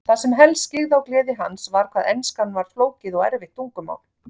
Það sem helst skyggði á gleði hans var hvað enskan var flókið og erfitt tungumál.